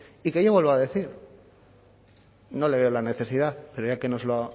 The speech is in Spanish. y que yo vuelvo a decir no le veo la necesidad pero ya que nos lo